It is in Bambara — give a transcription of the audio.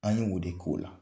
An ye o de k'o la.